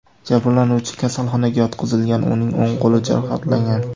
Jabrlanuvchi kasalxonaga yotqizilgan, uning o‘ng qo‘li jarohatlangan.